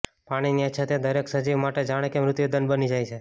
પાણીની અછત એ દરેક સજીવ માટે જાણે કે મૃત્યુદંડ બની જાય છે